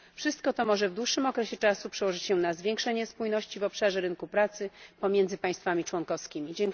Wszystko to może w dłuższym okresie czasu przełożyć się na zwiększenie spójności w obszarze rynku pracy pomiędzy państwami członkowskimi.